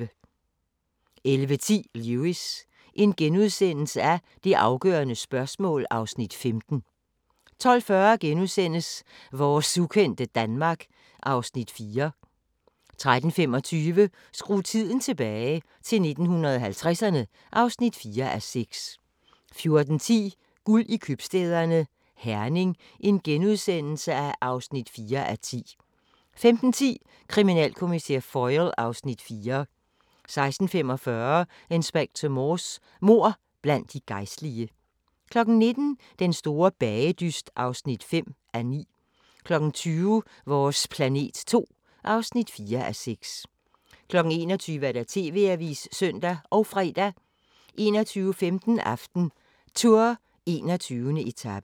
11:10: Lewis: Det afgørende spørgsmål (Afs. 15)* 12:40: Vores ukendte Danmark (Afs. 4)* 13:25: Skru tiden tilbage – til 1950'erne (4:6) 14:10: Guld i købstæderne – Herning (4:10)* 15:10: Kriminalkommissær Foyle (Afs. 4) 16:45: Inspector Morse: Mord blandt de gejstlige 19:00: Den store bagedyst (5:9) 20:00: Vores planet 2 (4:6) 21:00: TV-avisen (søn og fre) 21:15: AftenTour: 21. etape